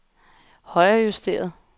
højrejusteret